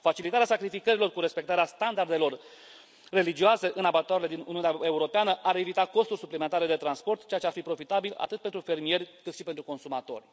Facilitarea sacrificărilor cu respectarea standardelor religioase în abatoarele din Uniunea Europeană ar evita costuri suplimentare de transport, ceea ce ar fi profitabil atât pentru fermieri, cât și pentru consumatori.